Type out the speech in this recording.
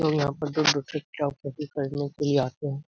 लोग यहाँ पर दूर-दूर से किताब कॉपी खरीदने के लिए आते हैं ।